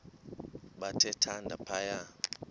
bathe thande phaya